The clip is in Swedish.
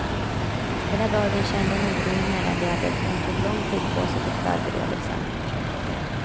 Hela dagen kände hon oro i mellangärdet, och hon tog lång tid på sig till förberedelsen.